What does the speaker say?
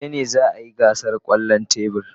Gobe ​​ne za a yi gasar kwallon tebur.